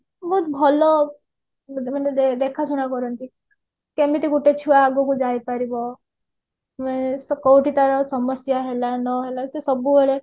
ବହୁତ ଭଲ ମାନେ ଦେଖା ଶୁଣା କରନ୍ତି କେମିତି ଗୋଟେ ଛୁଆ ଆଗକୁ ଯାଇପାରିବ ଉଁ କୋଉଠି ତାର ସମସ୍ଯା ହେଲା ନହେଲା ସେ ସବୁବେଳେ